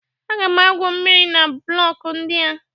Aga m awụ mmiri na blọkụ ndị a.